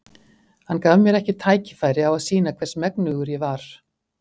Hann gaf mér ekki tækifæri á að sýna hvers megnugur ég var.